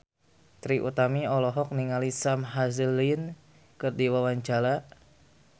Trie Utami olohok ningali Sam Hazeldine keur diwawancara